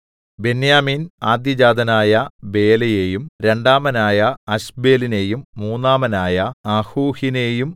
ബെന്യാമീൻ ആദ്യജാതനായ ബേലയെയും രണ്ടാമനായ അശ്ബേലിനെയും മൂന്നാമനായ അഹൂഹിനെയും